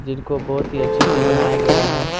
जिनको बहुत ही अच्छे से बनाया गया है।